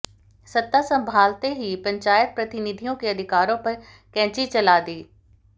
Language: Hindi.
सत्ता संभालते ही पंचायत प्रतिनिधियों के अधिकारों पर कैंची चला दी